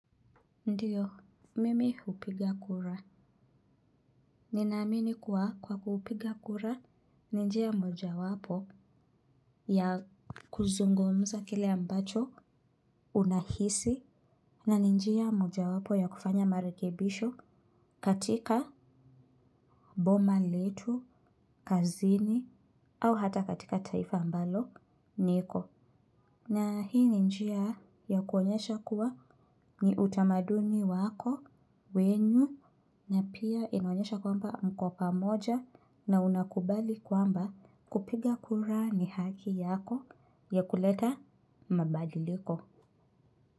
Ndiyo, mimi hupiga kura. Nina amini kuwa kwa kupiga kura ni njia mojawapo ya kuzungumza kile ambacho unahisi. Na ni njia mojawapo ya kufanya marekebisho katika boma letu, kazini, au hata katika taifa ambalo, niko. Na hii ni njia ya kuonyesha kuwa ni utamaduni wako, wenyu, na pia inaonyesha kwamba mko pamoja na unakubali kwamba kupiga kura ni haki yako ya kuleta mabadiliko.